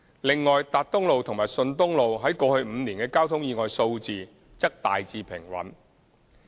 另外，達東路及順東路於過去5年的交通意外數字則大致平穩。